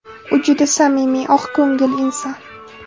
U juda samimiy, oqko‘ngil inson.